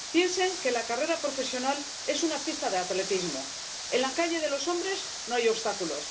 Piensen que la carrera profesional es una pista de atletismo en la calle de los hombres no hay obstáculos